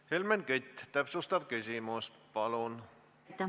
Helmen Kütt, täpsustav küsimus, palun!